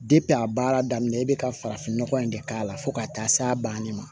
a baara daminɛ i bɛ ka farafin nɔgɔ in de k'a la fo ka taa s'a banni ma